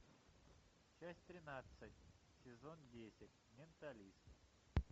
часть тринадцать сезон десять менталист